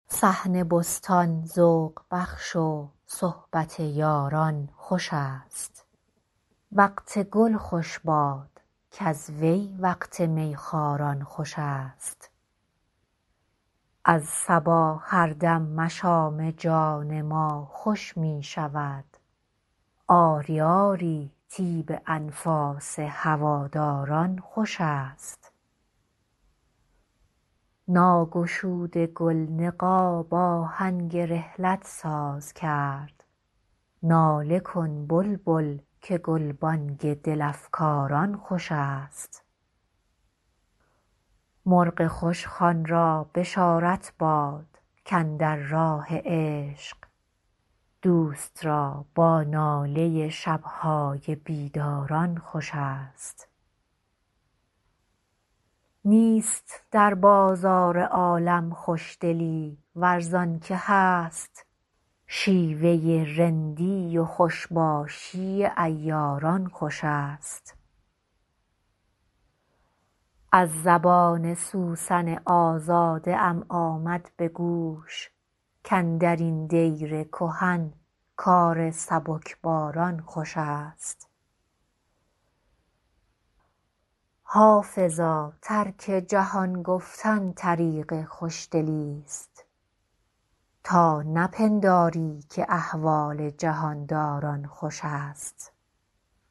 صحن بستان ذوق بخش و صحبت یاران خوش است وقت گل خوش باد کز وی وقت می خواران خوش است از صبا هر دم مشام جان ما خوش می شود آری آری طیب انفاس هواداران خوش است ناگشوده گل نقاب آهنگ رحلت ساز کرد ناله کن بلبل که گلبانگ دل افکاران خوش است مرغ خوشخوان را بشارت باد کاندر راه عشق دوست را با ناله شب های بیداران خوش است نیست در بازار عالم خوشدلی ور زان که هست شیوه رندی و خوش باشی عیاران خوش است از زبان سوسن آزاده ام آمد به گوش کاندر این دیر کهن کار سبکباران خوش است حافظا ترک جهان گفتن طریق خوشدلیست تا نپنداری که احوال جهان داران خوش است